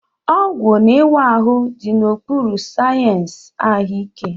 Ọgwụ na ịwa ahụ dị n'okpuru sayensị ahụike.